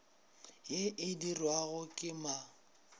ye e dirwago ke ma